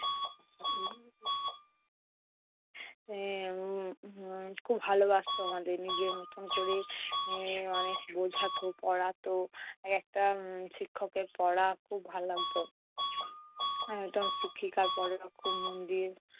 এর উম উহ খুব ভালোবাসতো আমাদের। নিজের মতো করে উম অনেক বোঝাতো, পড়াতো। একটা উম শিক্ষকের পড়া খুব ভাল লাগতো। উম শিক্ষিকার পড়া খুব মন দিয়ে